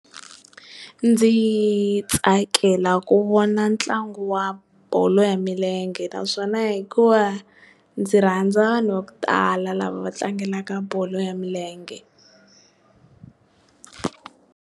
Ndzi tsakela ku vona ntlangu wa bolo ya milenge naswona hikuva ndzi rhandza vanhu vo tala lava va tlangelaka bolo ya milenge.